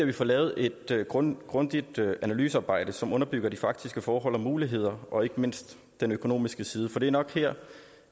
vi får lavet et grundigt grundigt analysearbejde som underbygger de faktiske forhold og muligheder og ikke mindst den økonomiske side for det er nok her